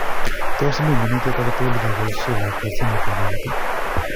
tos mii minutiet ake tugul nyoboishe lakwet simetab eut